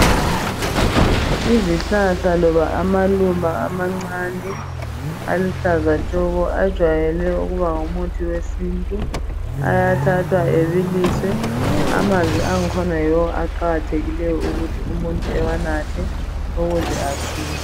Izihlahla loba amaluba amancane aluhlaza tshoko ajayele ukuba ngumuthi wesiNtu. Ayathathwa abiliswe amanzi akhona yiwo aqakathekileyo ekunatheni ukuze umuntu asile.